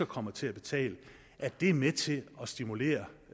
kommer til at betale at det er med til at stimulere